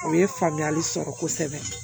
O ye faamuyali sɔrɔ kosɛbɛ